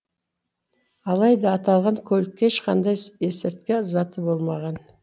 алайда аталған көлік ешқандай есірткі заты болмаған